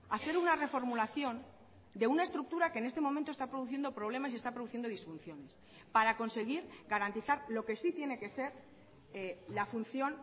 hacer una reformulación de una estructura que en este momento está produciendo problemas y está produciendo disfunciones para conseguir garantizar lo que sí tiene que ser la función